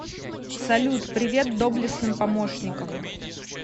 салют привет доблестным помощникам